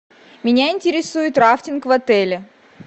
меня интересует рафтинг в отеле